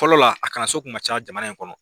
Fɔlɔ a kalan so kun ka ca jamana in kɔnɔ.